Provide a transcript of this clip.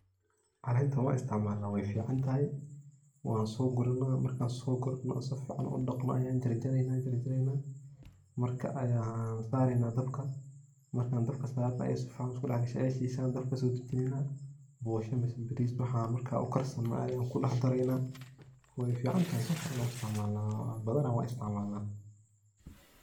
Calentan wan istacmala way ficantahy, wasogurane markan sogurano sifcn udaqno ayan jar jareyna, jar jareyna marka ayan saareyna dabka marka an dabka sarno safican iskudaxgasho ay shisho ayan dabka kaso dajineynah, bosha ama baris waxa marka ugarsano ayan kudax dareynah way ficantahy badanah wan istacmalnah.